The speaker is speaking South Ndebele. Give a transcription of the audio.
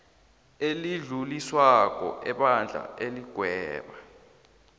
elidluliswako ebandla iligweba